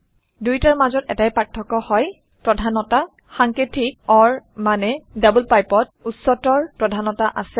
দুইটাৰ মাজত এটাই পাৰ্থক্য হয় - প্ৰধানতা সাঙ্কেতিক অৰ মানে ডাবল pipeৰ উচ্চতৰ প্ৰধানতা আছে